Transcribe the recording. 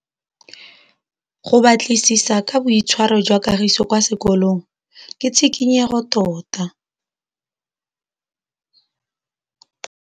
Go batlisisa ka boitshwaro jwa Kagiso kwa sekolong ke tshikinyêgô tota.